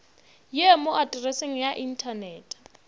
ye mo atreseng ya inthanete